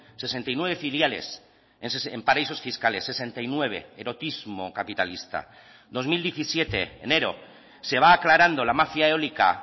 sesenta y nueve filiales en paraísos fiscales sesenta y nueve erotismo capitalista dos mil diecisiete enero se va aclarando la mafia eólica